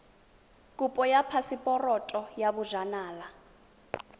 kopo ya phaseporoto ya bojanala